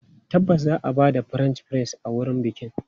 Tabbas za a ba da French fries a wurin bikin.